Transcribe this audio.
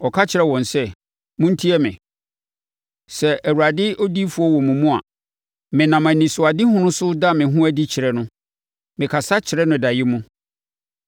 Ɔka kyerɛɛ wɔn sɛ, “Montie me, “Sɛ Awurade odiyifoɔ wɔ mo mu a, menam anisoadehunu so da me ho adi kyerɛ no, me kasa kyerɛ no daeɛ mu.